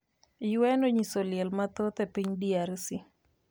UN onyiso liel mathoth e piny DRC